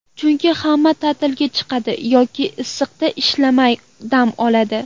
Chunki hamma ta’tilga chiqadi yoki issiqda ishlamay dam oladi.